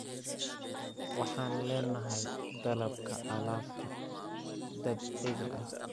Waxaan leenahay dalabka alaabta dabiiciga ah.